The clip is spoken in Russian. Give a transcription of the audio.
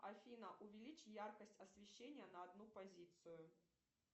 афина увелич яркость освещения на одну позицию